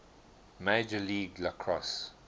major league lacrosse